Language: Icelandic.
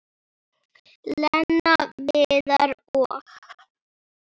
Lena, Viðar og